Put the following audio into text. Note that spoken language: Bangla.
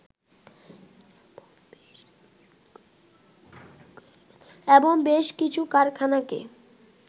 এবং বেশ কিছু কারখানাকে